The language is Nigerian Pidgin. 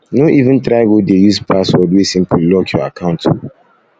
um no even try go dey use password wey simple lock your account o